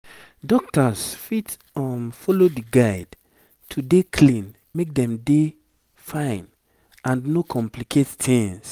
dokita's fit um follow di guide to dey clean make dem dey fine and no complicate tings